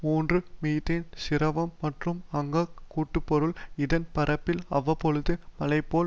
மூன்று மீத்தேன் சிரவம் மற்றும் அங்க்கக் கூட்டுப்பொருள் இதன் பரப்பில் அவ்வப்பொழுது மழைபோல்